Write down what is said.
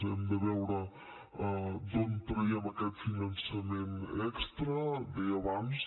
hem de veure d’on traiem aquest finançament extra deia abans